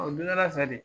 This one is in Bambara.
o dondala fɛ de